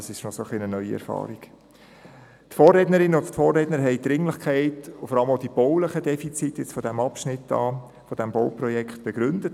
Die Vorrednerinnen und Vorredner haben die Dringlichkeit des Vorhabens und vor allem auch die baulichen Defizite des genannten Abschnitts begründet.